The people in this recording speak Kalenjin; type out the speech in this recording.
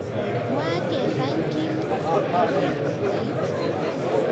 Mwaa kevany Kim agoi koit